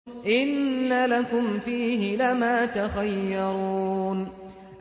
إِنَّ لَكُمْ فِيهِ لَمَا تَخَيَّرُونَ